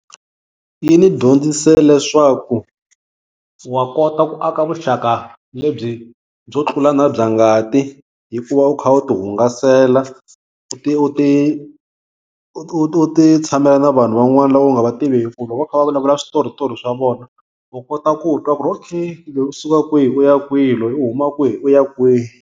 Yi ni dyondzise leswaku wa kota ku aka vuxaka lebyi byo tlula na bya ngati, hikuva u kha u tihungasela u ti tshamela na vanhu van'wana lava u nga va tiviki loko va kha va vulavula switoritori swa vona u kota ku twa ku ri okay loyi u suka kwihi, u ya kwihi, loyi u huma kwihi u ya kwihi.